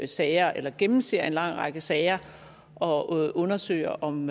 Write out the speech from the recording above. sager eller gennemser en lang række sager og undersøger om